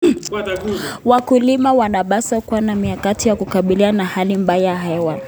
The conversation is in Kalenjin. Wakulima wanapaswa kuwa na mikakati ya kukabiliana na hali mbaya ya hewa.